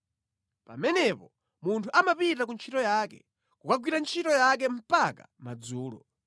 Pamenepo munthu amapita ku ntchito yake, kukagwira ntchito yake mpaka madzulo.